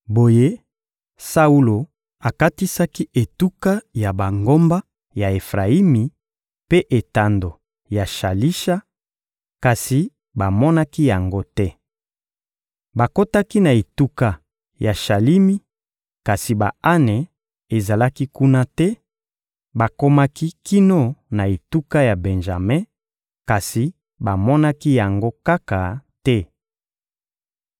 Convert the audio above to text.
Boye, Saulo akatisaki etuka ya bangomba ya Efrayimi mpe etando ya Shalisha; kasi bamonaki yango te. Bakotaki na etuka ya Shalimi, kasi ba-ane ezalaki kuna te; bakomaki kino na etuka ya Benjame, kasi bamonaki yango kaka te.